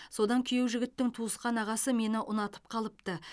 содан күйеу жігіттің туысқан ағасы мені ұнатып қалыпты